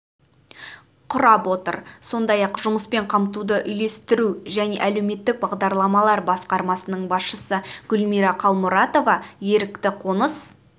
құрап отыр сондай-ақ жұмыспен қамтуды үйлестіру және әлеуметтік бағдарламалар басқармасының басшысы гүлмира қалмұратова ерікті қоныс